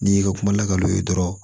N'i ka kuma lakal'u ye dɔrɔn